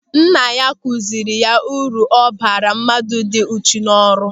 Nna ya kụziri ya uru ọ bara mmadụ ịdị uchu n'ọrụ.